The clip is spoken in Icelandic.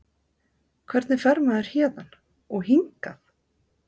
Hvernig fer maður héðan. og hingað??